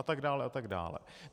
A tak dále a tak dále.